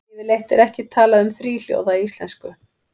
Yfirleitt er ekki talað um þríhljóða í íslensku.